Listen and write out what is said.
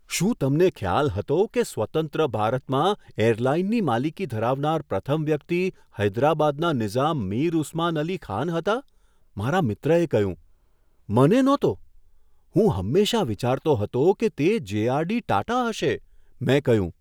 શું તમને ખ્યાલ હતો કે સ્વતંત્ર ભારતમાં એરલાઇનની માલિકી ધરાવનાર પ્રથમ વ્યક્તિ હૈદરાબાદના નિઝામ મીર ઉસ્માન અલી ખાન હતા? મારા મિત્રએ કહ્યું. " મને નહોતો. હું હંમેશા વિચારતો હતો કે તે જે.આર.ડી. ટાટા હશે. " મેં કહ્યું.